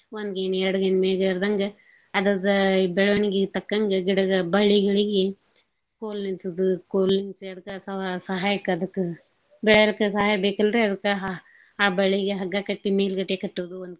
ಒಂದ್ ಗೇನ್ ಎರ್ಡ್ ಗೇನ್ ಮೇಗೇರ್ದಂಗ ಅದರ್ದ ಬೆಳವಣ್ಗೀಗ್ ತಕ್ಕಂಗ ಗಿಡಗ್ ಬಳ್ಳಿಗಳಿಗೆ ಕೋಲ್ನಿಲ್ಸೋದು ಕೋಲ್ನಿಲ್ಸಿ ಅದ್ಕ ಸ~ ಸಹಾಯಕ್ಕ ಅದ್ಕ ಬೆಳೇಲಿಕ್ಕ ಸಹಾಯ ಬೇಕಲ್ರೀ ಅದಕ್ಕ ಅ ಆ ಬಳ್ಳಿಗೆ ಹಗ್ಗ ಕಟ್ಟಿ ಮೇಲ್ಗಡೆ ಕಟ್ಟೂದು.